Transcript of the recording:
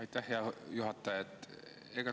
Aitäh, hea juhataja!